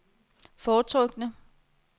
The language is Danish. foretrukne